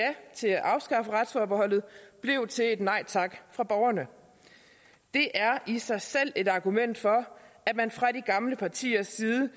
til at afskaffe retsforbeholdet blev til et nej tak fra borgerne det er i sig selv et argument for at man fra de gamle partiers side